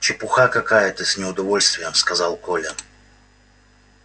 чепуха какая то с неудовольствием сказал коля